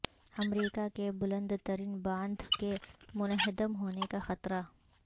امریکہ کے بلندترین باندھ کے منہدم ہونے کا خطرہ